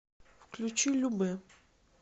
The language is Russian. включи любэ